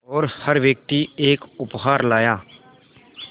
और हर व्यक्ति एक उपहार लाया